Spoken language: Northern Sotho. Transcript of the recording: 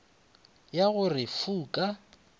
ya go re fu ka